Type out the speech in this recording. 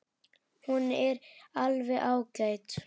Hún er alveg ágæt.